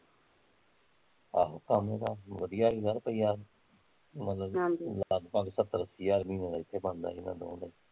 ਆਹੋ ਕੰਮ ਤਾਂ ਵਧੀਆ ਸੀਗਾ ਕੋਈ ਐ ਮਤਲਬ ਅਹ ਲਗਪਗ ਸੱਤਰ ਅੱਸੀ ਹਜ਼ਾਰ ਮਹੀਨੇ ਦਾ ਏਥੇ ਬਣਦਾ ਸੀ ਇਹਨਾਂ ਨੂੰ